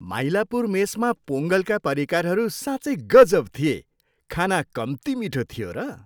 माइलापुर मेसमा पोङ्गलका परिकारहरू साँच्चै गजब थिए। खाना कम्ती मिठो थियो र!